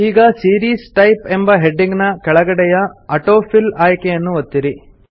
ಈಗ series type ಎಂಬ heading ನ ಕೆಳಗಡೆಯ ಆಟೋಫಿಲ್ ಆಯ್ಕೆಯನ್ನು ಒತ್ತಿರಿ